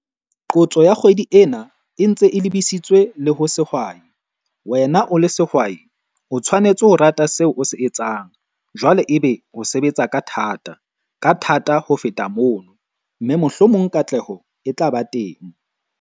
Qotso ya kgwedi ena e ntse e lebisitswe le ho sehwai. Wena o le sehwai o tshwanetse ho rata seo o se etsang, jwale ebe o sebetsa ka thata, ka thata ho feta mono, mme mohlomong katleho e tla ba teng.